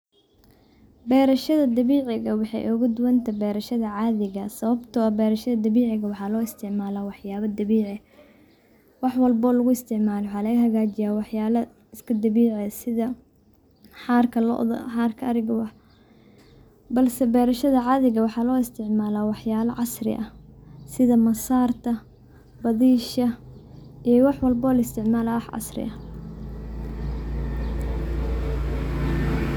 Beerashada dabiiciga waxaay ooga duban tahay caadiga, sababta oo ah beerashada dabiiciga waxaa loo isticmaalaa waxyaaba dabiici, wax walbo oo lugu isticmaalo waxaa laga hagaajiya wax yaaba iska dabiici ah, sidha xaarka loada, xaarka ariga, balse beerashada caadiga waxaa loo isticmaalaa wax yaaba casri ah, sidha masaarta, badiisha, iyo wax walbo oo la isticmaalo oo ah wax casri ah.